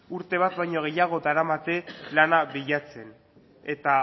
urte bat baino gehiago daramate lana bilatzen eta